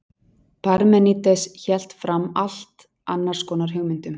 parmenídes hélt fram allt annars konar hugmyndum